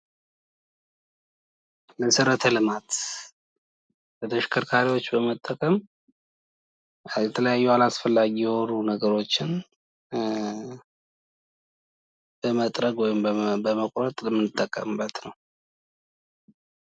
መሠረተ ልማት ፤ በተሽከርካሪዎች በመጠቀም የተለያዩ አላስፈላጊ የሆኑ ነገሮችን ለመጥረግ ወይም ለመቁረጥ የምንጠቀምበት ነው።